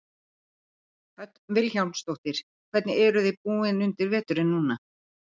Hödd Vilhjálmsdóttir: Hvernig eruð þið búin undir veturinn núna?